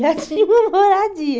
Já tinha uma moradia.